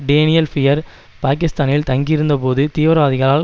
Daniel Pearl பாகிஸ்தானில் தங்கியிருந்தபோது தீவிரவாதிகளால்